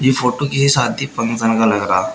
ये फोटो किसी शादी फंक्शन का लग रहा।